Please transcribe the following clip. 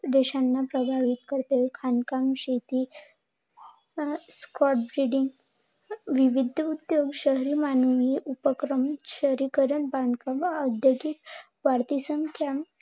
देशांना प्रभावित करते. खाणकाम, शेती, विविध शहरी मानवी उपक्रम, शहरीकरण, बांधकाम, औद्योगिक, वाढती संख्या